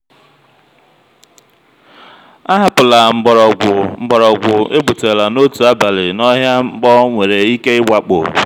ahapụla mgbọrọgwụ mgbọrọgwụ egbutela n'otu abalị n'ọhịa mkpọ nwere ike ịwakpo.